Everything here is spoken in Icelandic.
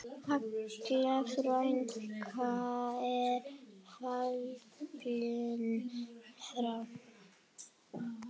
Halla frænka er fallin frá.